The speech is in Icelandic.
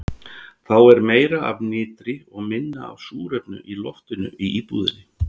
Þá er meira af nitri og minna súrefni í loftinu í íbúðinni.